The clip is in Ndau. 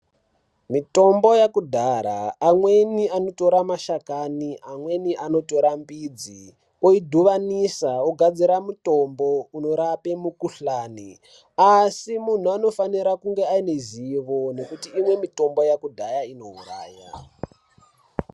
Mitombo yekudhara, amweni anotore mashakani, amweni anotora mbidzi, oidhuvanidza, ogadzira mutombo unorapa mukhuhlani, asi muntu anofanira kunge aine zivo ngekuti imweni mitombo yekudhaya inouraya.